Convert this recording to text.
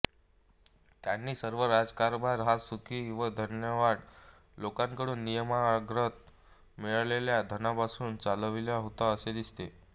त्यांनी सर्व राज्यकारभार हा सुखी व धनाढ्य लोकांकडून नियमांतर्गत मिळालेल्या धनापासून चालविला होता असे दिसते